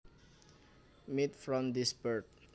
Meat from this bird